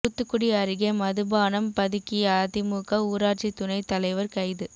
தூத்துக்குடி அருகே மதுபானம் பதுக்கிய அதிமுக ஊராட்சி துணைத் தலைவர் கைது